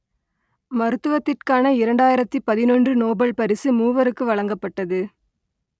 மருத்துவத்துக்கான இரண்டாயிரத்து பதினொன்று நோபல் பரிசு மூவருக்கு வழங்கப்பட்டது